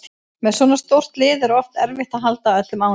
Með svona stórt lið er oft erfitt að halda öllum ánægðum